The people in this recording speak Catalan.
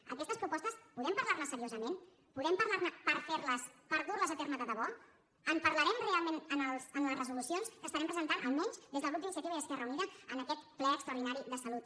d’aquestes propostes podem parlar ne seriosament podem parlar ne per fer les per dur les a terme de debò en parlarem realment en les resolucions que estarem presentant almenys des del grup d’iniciativa i esquerra unida en aquest ple extraordinari de salut